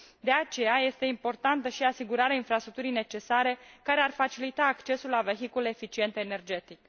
De aceea, este importantă și asigurarea infrastructurii necesare, care ar facilita accesul la vehicule eficiente energetic.